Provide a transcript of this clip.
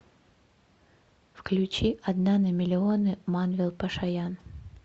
включи одна на миллионы манвел пашаян